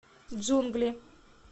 джунгли